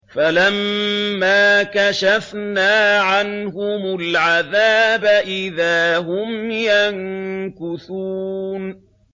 فَلَمَّا كَشَفْنَا عَنْهُمُ الْعَذَابَ إِذَا هُمْ يَنكُثُونَ